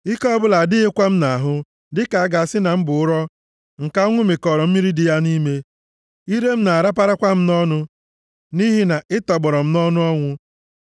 Ike ọbụla adịghịkwa m nʼahụ, dịka a ga-asị na m bụ ụrọ nke anwụ mịkọọrọ mmiri dị ya nʼime. Ire m na-araparakwa m nʼọnụ, nʼihi na ị tọgbọrọ m nʼọnụ ọnwụ.